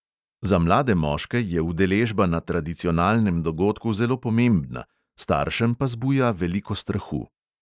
Za mlade moške je udeležba na tradicionalnem dogodku zelo pomembna, staršem pa zbuja veliko strahu.